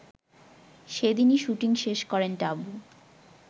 সেদিনই শুটিং শেষ করেন টাবু